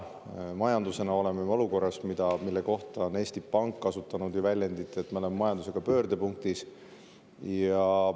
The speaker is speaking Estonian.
Majandusega oleme me olukorras, mille kohta on Eesti Pank kasutanud väljendit, et me oleme majandusega pöördepunktis.